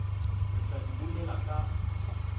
re tla di bolela ka